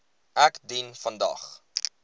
ek dien vandag